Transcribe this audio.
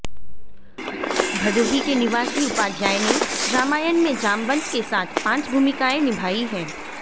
भदोही के निवासी उपाध्याय ने रामायण में जामवंत के साथ पांच भूमिकाएँ निभाई है